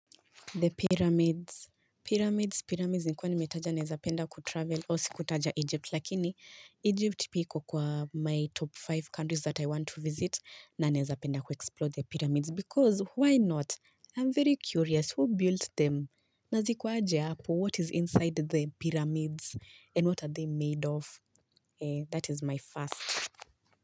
The pyramids. Pyramids. Pyramids nikuwa ni metaja naezapenda kutravel o si kutaja Egypt lakini Egypt, pia iko kwa my top tano countries that I want to visit na naezapenda kuexplode the pyramids. Because why not? I'm very curious who built them? Naziko aje apo? What is inside the pyramids? And what are they made of? That is my first.